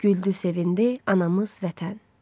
Güldü, sevindi anamız vətən.